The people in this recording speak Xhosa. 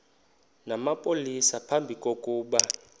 namapolisa phambi kokuba